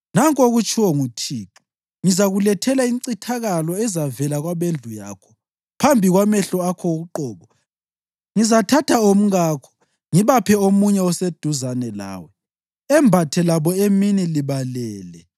Nanku okutshiwo nguThixo: ‘Ngizakulethela incithakalo ezavela kwabendlu yakho. Phambi kwamehlo akho uqobo, ngizathatha omkakho ngibaphe omunye oseduzane lawe, embathe labo emini libalele.